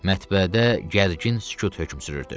Mətbəədə gərgin sükut hökm sürürdü.